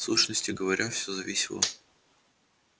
в сущности говоря все зависело